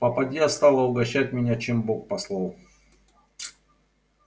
попадья стала угощать меня чем бог послал